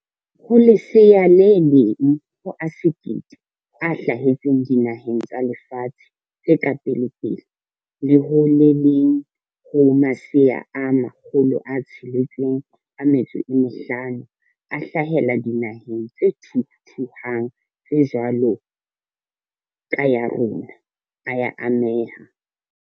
Ho lesea le leng ho a 1 000 a hla hetseng dinaheng tsa lefatshe tse ka pelepele le ho le leng ho masea a 650 a hlahela dinaheng tse thuthuhang tse jwalo ka ya rona, a ya ameha.